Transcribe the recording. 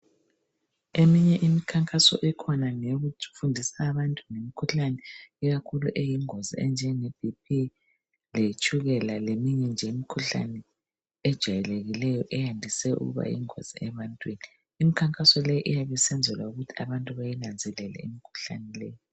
Eminye imkhankaso ekhona ngeyokuthi ufundise abantu ngemikhuhlane ikakhulu eyingozi enjenge BP letshukela leminye nje imikhuhlane ejayelekileyo eyandise ukuba yingozi ebantwini. Imkhankaso leyi iyabe isenzelwa ukuthi abantu bayinanzelele imikhuhlane.